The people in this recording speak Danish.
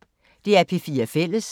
DR P4 Fælles